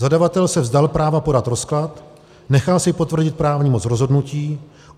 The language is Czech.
Zadavatel se vzdal práva podat rozklad, nechal si potvrdit právní moc rozhodnutí.